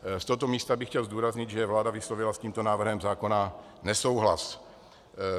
Z tohoto místa bych chtěl zdůraznit, že vláda vyslovila s tímto návrhem zákona nesouhlas.